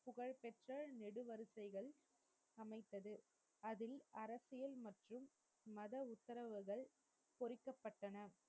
அதில் அரசியல் மற்றும் மத உத்தரவுகள் பொறிக்கப்பட்டன.